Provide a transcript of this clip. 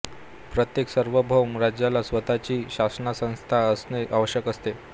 प्रत्येक सार्वभौम राज्याला स्वतःची शासनसंस्था असणेे आवश्यक असतेे